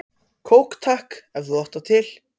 Kók takk, ef þú átt það til!